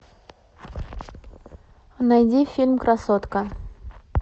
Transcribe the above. найди фильм красотка